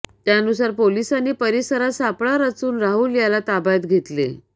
त्यानुसार पोलिसांनी परिसरात सापळा रचून राहुल याला ताब्यात घेतले